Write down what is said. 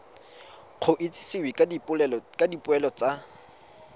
go itsisiwe ka dipoelo tsa